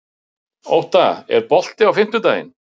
Ótta, er bolti á fimmtudaginn?